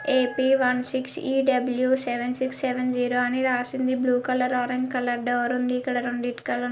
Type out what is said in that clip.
AP one six E W seven six seven zero అని రాసి ఉంది. Blue colour orange colour door ఉంది.ఇక్కడ రెండు ఇటికలు--